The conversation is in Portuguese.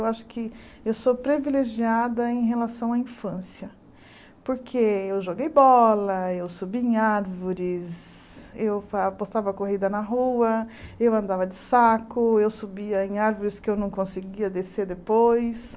Eu acho que eu sou privilegiada em relação à infância, porque eu joguei bola, eu subi em árvores, eu fa apostava corrida na rua, eu andava de saco, eu subia em árvores que eu não conseguia descer depois.